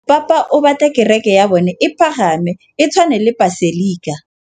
Mopapa o batla kereke ya bone e pagame, e tshwane le paselika.